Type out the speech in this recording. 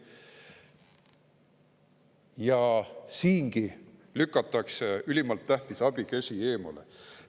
Ja siingi lükatakse ülimalt tähtis abikäsi eemale.